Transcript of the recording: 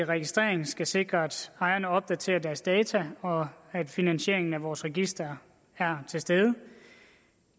registrering skal sikre at ejerne opdaterer deres data og at finansieringen af vores register er til stede